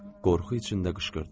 Qorxu içində qışqırdım.